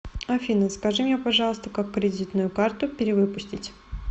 афина скажите мне пожалуйста как кредитную карту перевыпустить